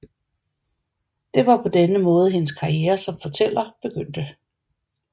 Det var på denne måde hendes karriere som fortæller begyndte